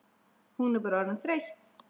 Hún bara orðin of þreytt.